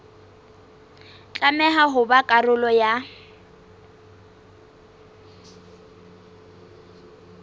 tlameha ho ba karolo ya